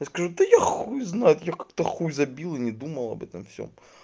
я скажу да я хуй знает я как-то хуй забил и не думал об этом всем